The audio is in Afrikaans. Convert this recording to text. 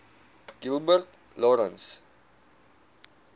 gilbert lawrence